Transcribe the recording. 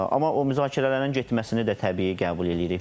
Amma o müzakirələrin getməsini də təbii qəbul eləyirik.